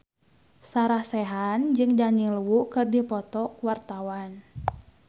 Sarah Sechan jeung Daniel Wu keur dipoto ku wartawan